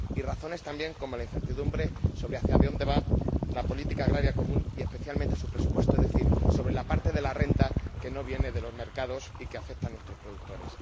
y razones también como la incertidumbre sobre hacia dónde va la política agrícola común y, especialmente, su presupuesto, es decir, sobre la parte de la renta que no viene de los mercados y que afecta a nuestros productores.